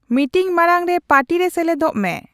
meeting ᱢᱟᱲᱟᱝ ᱨᱮ party ᱨᱮ ᱥᱮᱞᱮᱫᱚᱜ ᱢᱮ